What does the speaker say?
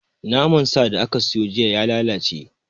Naman sa da ka siyo jiya ya lalace